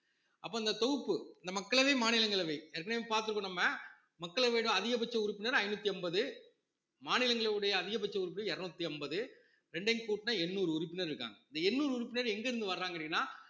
அப்ப இந்த தொகுப்பு இந்த மக்களவை, மாநிலங்களவை ஏற்கனவே பார்த்திருக்கோம் நம்ம மக்களவைன்னா அதிகபட்ச உறுப்பினர் ஐநூத்தி அம்பது மாநிலங்களுடைய அதிகபட்ச உறுப்பினர் இருநூத்தி அம்பது ரெண்டையும் கூட்டுனா எண்ணூறு உறுப்பினர் இருக்காங்க இந்த எண்ணூறு உறுப்பினர் எங்கிருந்து வர்றாங்க அப்படின்னா